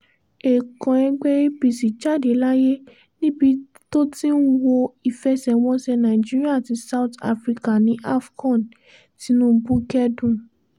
ẹ̀ẹ̀kan ẹgbẹ́ apc jáde láyé níbi tó ti ń wo ìfẹsẹ̀wọnsẹ̀ nàìjíríà àti south africa ní afọ̀n tinubu kẹ́dùn